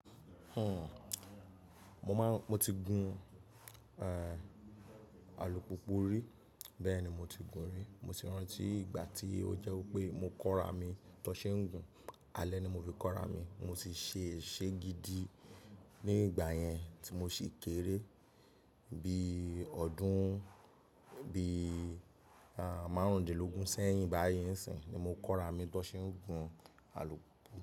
Hmm, mo máa ń, mo ti gun, eh, alùpùpù rí. Bẹ́ẹ̀ ni mo ti gun rí. Mo ti rántí ìgbà tí ó jẹ́ wípé mo kóra mi tó ṣe ń gun. Alẹ́ ni mo fi kóra mi. Mo sì ṣe ṣé gidi ní ìgbà yẹn tí mo sì kéré. Bí ọdún, bí, àń, márùúndínlógún sẹ́yìn báyìí ń sìn ni mo kóra mi tó ṣe ń gun alùpùpù.